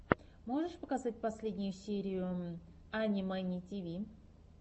можешь показать последнюю серию ани мэни тиви